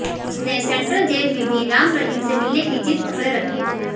उसने central jail में भी राम रहीम से मिलने की जिद पकड़े रखी